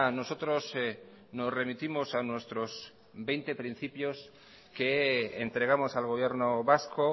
nosotros nos remitimos a nuestros veinte principios que entregamos al gobierno vasco